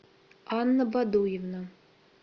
анна бодуевна